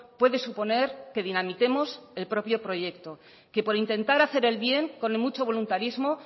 puede suponer que dinamitemos el propio proyecto que por intentar hacer el bien con mucho voluntarismo